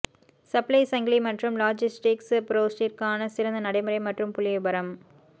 supply சங்கிலி மற்றும் logistics ப்ரோஸிற்கான சிறந்த நடைமுறை மற்றும் புள்ளிவிபரம்